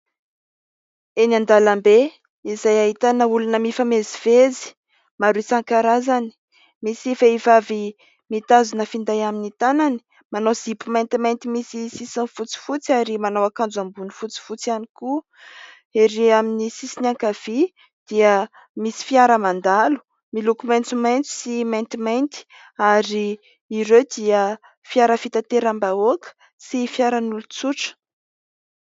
Eny an-dalambe izay ahitana olona mifamezivezy maro isan-karazany. Misy vehivavy mitazona finday amin'ny tanany, manao zipo maintimainty misy sisiny fotsifotsy ary manao akanjo ambony fotsifotsy ihany koa. Erỳ amin'ny sisiny ankavia dia misy fiara mandalo miloko maistomaisto sy maitimainty ary ireo dia fiara fitanteram-bahoaka sy fiaran'olon-tsotra.